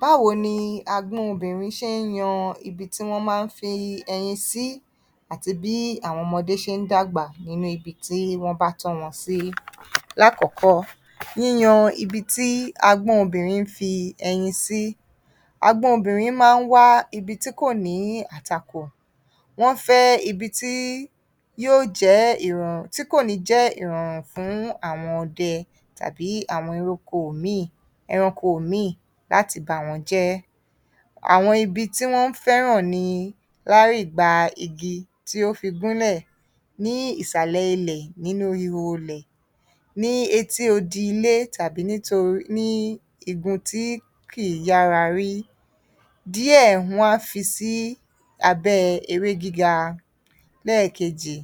Báwo ni agbọ́n obìnrin ṣe ń yan ibi tí wọ́n máa ń fi ẹyin sí àti bí àwọn ọmọdé ṣe ń dàgbà nínú ibi tí wọ́nbá tọ́ wọn sí? Lákọ̀ọ́kọ́, yíyan ibi tí agbọ́n obìnrin ń fi ẹyin sí. Agbọ́n obìnrin máa ń wá ibi tí kò ní àtakò. Wọ́n fẹ́ ibi tí yó jẹ́ ìrọ̀r, tí kò ní jẹ́ ìrọ̀rùn fún àwọn ọdẹ tàbí àwọn eróko míì, ẹranko míì láti bàwọ́n jẹ́. Àwọn ibi tí wọ́n ń fẹ́ràn ni lárìba igi tí ó fi gúnlẹ̀ ní ìsàlẹ̀ ilẹ̀ nínú ihò ilẹ̀, ní etí odi ilé tàbí nítorí, tàbí ní igun tí kìí yára rí. Díẹ̀, wọ́n á fi sí abẹ́ ewé gíga. Lẹ́ẹ̀kejì,